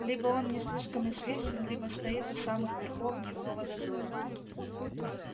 либо он не слишком известен либо стоит у самых верхов дневного дозора